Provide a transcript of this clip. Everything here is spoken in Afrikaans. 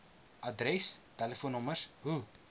adres telefoonnommers hoe